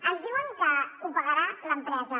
ens diuen que ho pagarà l’empresa